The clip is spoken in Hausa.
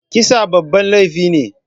Kisa babban laifi ne